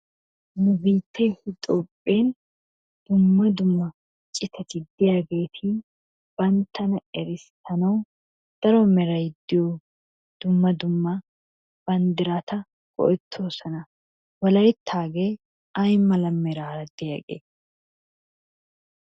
nu biittee Itoophphen dumma dumma citati de'iyaageetibantana errisanawu daro meray de'iyo banddirata go'ettosonna. wolayttaagee ay mala meraara diyaagee?